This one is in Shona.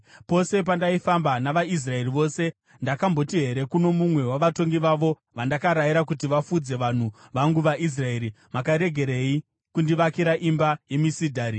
Pose pandaifamba navaIsraeri vose, ndakamboti here kuno mumwe wavatongi vavo vandakarayira kuti vafudze vanhu vangu vaIsraeri, “Makaregerei kundivakira imba yemisidhari?” ’